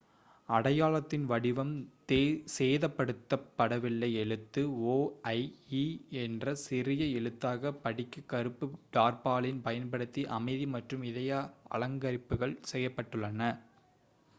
"அடையாளத்தின் வடிவம் சேதப்படுத்தப் படவில்லை; எழுத்து "o" ஐ "e" என்ற சிறிய எழுத்தாகப் படிக்க கருப்பு டார்பாலின் பயன்படுத்தி அமைதி மற்றும் இதய அலங்கரிப்புகள் செய்யப்பட்டுள்ளன.